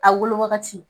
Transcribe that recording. A wolo wagati